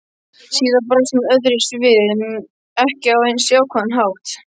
Síðar brást hún öðruvísi við, ekki á eins jákvæðan hátt.